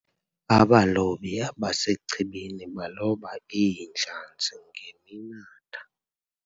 abalobi abasechibini baloba iintlanzi ngeminatha